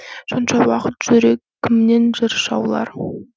сонша уақыт жүрегімнен жыр саулар